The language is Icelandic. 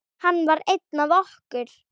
Hann var einn af okkur.